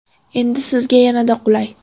Endi sizga yanada qulay!.